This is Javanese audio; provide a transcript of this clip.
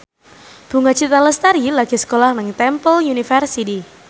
Bunga Citra Lestari lagi sekolah nang Temple University